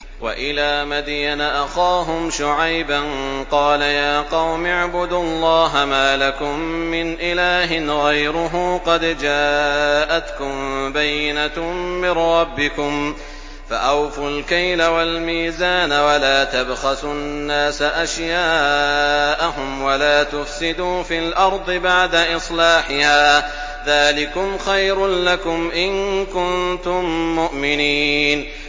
وَإِلَىٰ مَدْيَنَ أَخَاهُمْ شُعَيْبًا ۗ قَالَ يَا قَوْمِ اعْبُدُوا اللَّهَ مَا لَكُم مِّنْ إِلَٰهٍ غَيْرُهُ ۖ قَدْ جَاءَتْكُم بَيِّنَةٌ مِّن رَّبِّكُمْ ۖ فَأَوْفُوا الْكَيْلَ وَالْمِيزَانَ وَلَا تَبْخَسُوا النَّاسَ أَشْيَاءَهُمْ وَلَا تُفْسِدُوا فِي الْأَرْضِ بَعْدَ إِصْلَاحِهَا ۚ ذَٰلِكُمْ خَيْرٌ لَّكُمْ إِن كُنتُم مُّؤْمِنِينَ